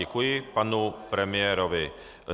Děkuji panu premiérovi.